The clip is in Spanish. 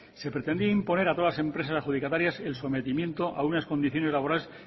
se pretendía imponer a todas las empresas adjudicatarias el sometimiento a unas condiciones laborales